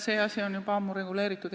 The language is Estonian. See asi on juba ammu reguleeritud.